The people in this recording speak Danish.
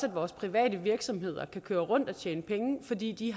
at vores private virksomheder kan køre rundt og tjene penge fordi de